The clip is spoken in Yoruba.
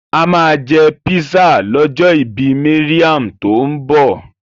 A máa jẹ písà lọ́jọ́ ìbí Mariam tó ń bọ̀.